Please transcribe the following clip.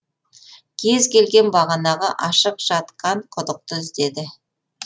келген бетте бағанағы ашық жатқан құдықты іздеді